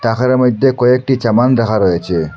ঘরের মইদ্যে কয়েকটি চাবান দাহা রয়েচে।